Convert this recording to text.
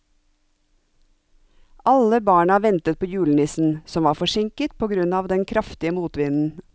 Alle barna ventet på julenissen, som var forsinket på grunn av den kraftige motvinden.